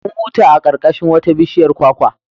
Mun huta a ƙarƙashin wata bishiyar kwakwa.